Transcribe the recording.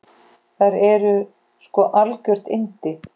Þær eru sko algjör yndi.